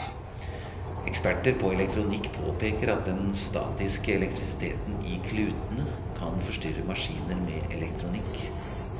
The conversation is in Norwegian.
Eksperter på elektronikk påpeker at den statiske elektrisiteten i klutene, kan forstyrre maskiner med elektronikk.